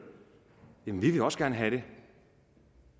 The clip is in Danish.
jamen vi vil også gerne have det